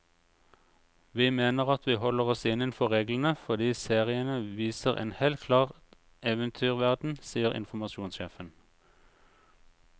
Vi mener at vi holder oss innenfor reglene, fordi seriene viser en helt klar eventyrverden, sier informasjonssjefen.